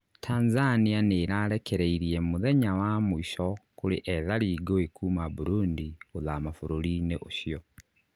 Tanzania nĩrarekereirie muthenya wa mũico kũrĩ ethari ngũĩ kuma Burundi gũthama bũrũrinĩ ũcio